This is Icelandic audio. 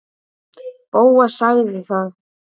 Bóas þagði.